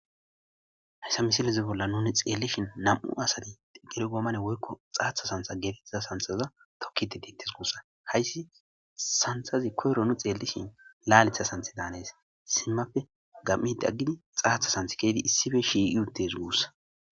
Hayssa misileza bolla nuni xeellishin issi xiqili goommene woykko xaaththa sanththa geetettiza sanththaza tokkidi deettes guussa. Hayssi sanththazi koyro nuni xeellishin laaleththa sanththeda hanes. Simmappe gami'idi aggidi xaaththa sanththa ke'idi issippe shiiqi uttes guussa.